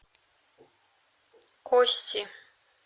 кости